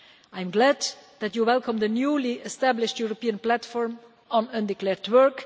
I am glad that you welcome the newly established European Platform on undeclared work.